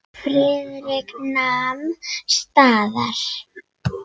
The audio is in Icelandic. Friðrik nam staðar.